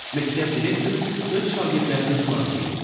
Məktəb direktoru öz şagirdlərini xilas eləyir.